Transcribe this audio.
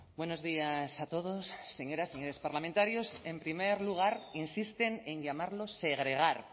buenos días a todos señoras señores parlamentarios en primer lugar insisten en llamarlos segregar